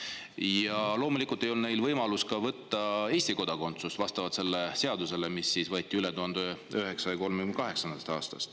Ja loomulikult ei olnud neil võimalust võtta Eesti kodakondsust, kuna lähtuti põhiseadusest, mis võeti vastu 1938. aastal.